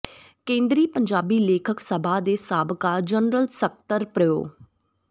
ਕੇਂਦਰੀ ਪੰਜਾਬੀ ਲੇਖਕ ਸਭਾ ਦੇ ਸਾਬਕਾ ਜਨਰਲ ਸਕੱਤਰ ਪ੍ਰੋ